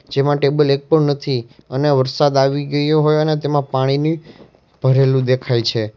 જેમાં ટેબલ એક પણ નથી અને વરસાદ આવી ગયો હોય અને તેમાં પાણીની ભરેલું દેખાય છે.